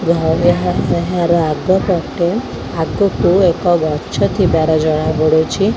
ଯେ ଘର ପାଖେ ଘର ଆଗ ପଟେ ଆଗକୁ ଏକ ଗଛ ଥିବାର ଜଣା ପଡୁଛି।